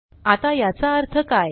आता याचा अर्थ काय